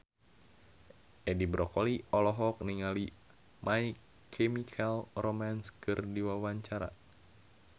Edi Brokoli olohok ningali My Chemical Romance keur diwawancara